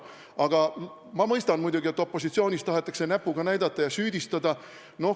Aga ma muidugi mõistan, et opositsioonis tahetakse näpuga näidata ja süüdistada.